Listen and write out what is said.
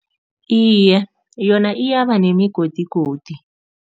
Iye, yona iyaba nemigodigodi.